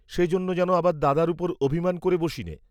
সেজন্য যেন আবার দাদার উপর অভিমান করে বসিনে।